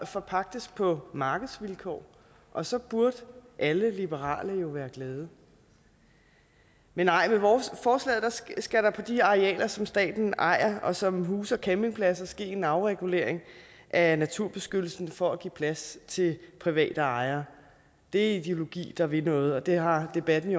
forpagtes på markedsvilkår og så burde alle liberale jo være glade med forslaget skal der på de arealer som staten ejer og som huser campingpladser ske en afregulering af naturbeskyttelsen for at give plads til private ejere det er ideologi der vil noget og det har debatten i